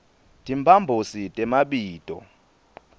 timphambosi temabito